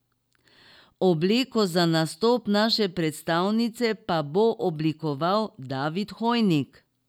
Obleko za nastop naše predstavnice pa bo oblikoval David Hojnik.